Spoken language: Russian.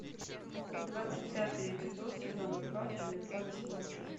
двадцать пятый эпизод сезона два фильмеца восьмое чувство